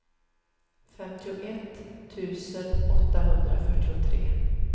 femtioett tusen åttahundrafyrtiotre